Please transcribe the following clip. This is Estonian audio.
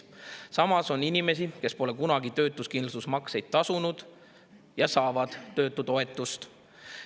Ja samas on inimesi, kes pole kunagi töötuskindlustusmakseid tasunud ja saavad töötutoetust.